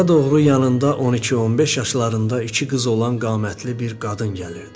Onlara doğru yanında 12-15 yaşlarında iki qız olan qamətli bir qadın gəlirdi.